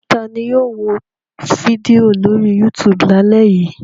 Ta ni yóò wo fídíò lórí YouTube lálẹ́ yìí?